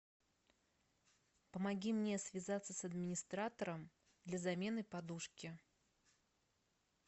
помоги мне связаться с администратором для замены подушки